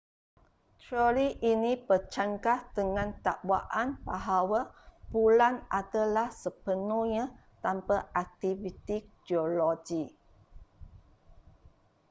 teori ini bercanggah dengan dakwaan bahawa bulan adalah sepenuhnya tanpa aktiviti geologi